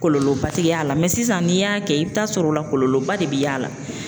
Kɔlɔlɔba ti y'a la mɛ sisan n'i y'a kɛ i bi t'a sɔrɔ o la kɔlɔlɔ ba de be y'a la